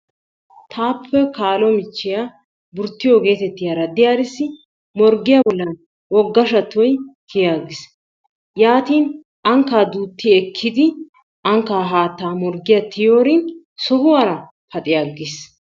Taappe kaalo michchiya burttiyo getettiyara diyarissi morggiya bollan wogga shattoy kiyi attis, yaatin ankkaa duutti ekkidi ankkaa haattaa morggiya tiyiyoorin sohuwara paxi aggiis.